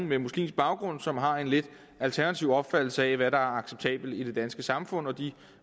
med muslimsk baggrund som har en lidt alternativ opfattelse af hvad der er acceptabelt i det danske samfund og de